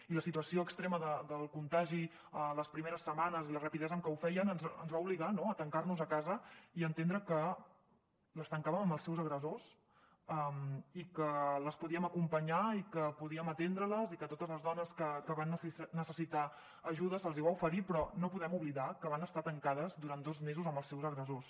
i la situació extrema del contagi les primeres setmanes i la rapidesa amb què ho feia ens va obligar no a tancar nos a casa i a entendre que les tancàvem amb els seus agressors i que les podíem acompanyar i que podíem atendre les i que a totes les dones que van necessitar ajuda se’ls va oferir però no podem oblidar que van estar tancades durant dos mesos amb els seus agressors